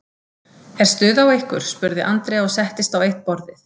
Er stuð á ykkur? spurði Andrea og settist á eitt borðið.